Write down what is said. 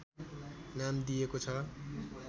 नाम दिइएको छ